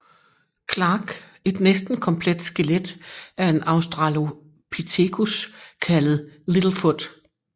Clarke et næsten komplet skelet af en Australopithecus kaldt Little Foot